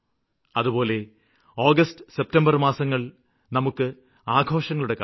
അതുപോലെ August September മാസങ്ങള് നമുക്ക് ആഘോഷങ്ങളുടെ കാലമാണ്